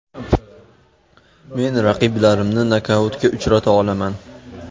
Men raqiblarimni nokautga uchrata olaman”.